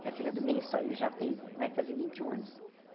Que é a filha do meio só, e já tem vai fazer vinte e um anos.